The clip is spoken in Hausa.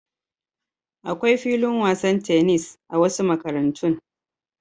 Akwai filin wasan tenis a wasu makarantun.